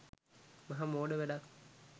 මහ මෝඩ වැඩක්.